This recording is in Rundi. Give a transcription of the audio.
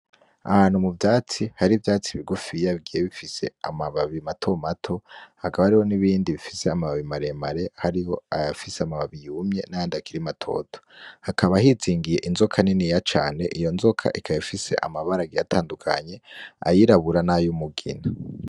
Ahantu mu vyatsi hari ivyatsi bigufiya bigiye bifse amababi mato mato, hakaba hariho n'ibindi bifise amababi maremare, hariho ayafise amababi yumwe n'ayandi akiri matoto. Hakaba hizingiye inzoka niniya cane, iyo nzoka ikaba ifise amabara agiye atandukanye, ayirabura n'ay'umugina.